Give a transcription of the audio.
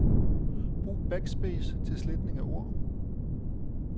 Brug backspace til sletning af ord.